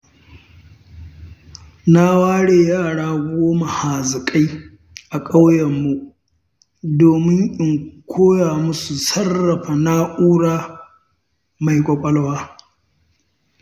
Na ware yara goma haziƙai a ƙauyenmu domin in koya musu sarrafa na'ura mai ƙwaƙwalwa.